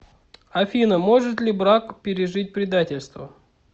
афина может ли брак пережить предательство